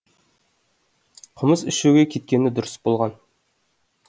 қымыз ішуге кеткені дұрыс болған